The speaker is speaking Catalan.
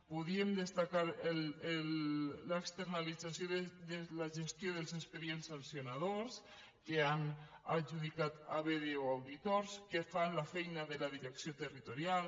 podríem destacar l’externalització de la gestió dels expedients sancionadors que han adjudicat a bdo auditors que fan la feina de la direcció territorial